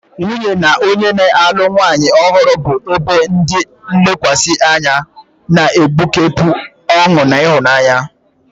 Nwunye na onye na-alụ nwanyị ọhụrụ bụ ebe ndi nlekwasi anya, na-egbukepụ ọṅụ na ịhụnanya.